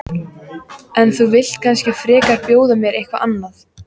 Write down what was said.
En þú vilt kannski frekar bjóða mér eitthvað annað?